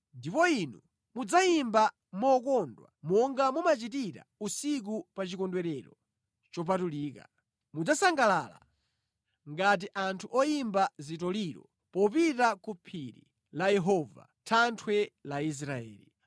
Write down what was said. Ndipo inu mudzayimba mokondwa monga mumachitira usiku pa chikondwerero chopatulika. Mudzasangalala ngati anthu oyimba zitoliro popita ku phiri la Yehova, thanthwe la Israeli.